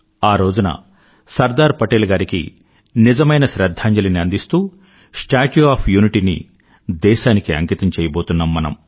ఆ రోజున సర్దార్ పటేల్ గారికి నిజమైన శ్రధ్ధాంజలిని అందిస్తూ స్టాచ్యూ ఒఎఫ్ యూనిటీ ని దేశానికి అంకితం చెయ్యబోతున్నాం మనం